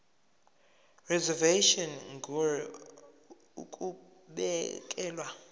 reservation ngur ukubekelwa